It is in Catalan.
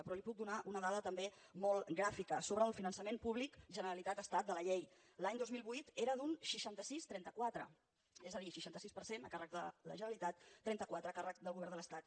però li puc donar una dada també molt gràfica sobre el finançament públic generalitat estat de la llei l’any dos mil vuit era d’un seixanta sis trenta quatre és a dir seixanta sis per cent a càrrec de la generalitat trenta quatre a càrrec del govern de l’estat